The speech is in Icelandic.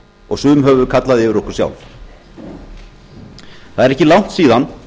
og sum höfum við kallað yfir okkur sjálf það er ekki langt síðan